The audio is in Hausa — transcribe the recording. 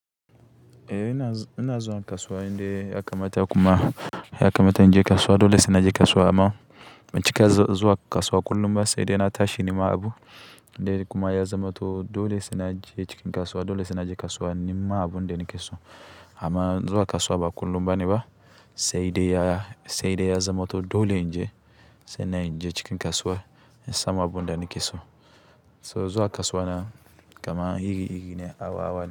Eh ina, ina zuwa kasuwa inda ya kamata kuma ya kamata in je kasuwa dole sai naje kasuwa amma cikakken zuwa kasuwa kullum ba sai dai na tashi nima abu in dai kuma ya zama to dole sai naje cikin kasuwa, dole sai naje kasuwa in nima abuda nikeso. Amma zuwa kasuwa ba kullum bane ba sai dai ya, sai dai ya zama to dole in je sai in je cikin kasuwar in samu abun da nikeso. So zuwa kasuwa na kama iri-iri ne, hawa-hawa ne.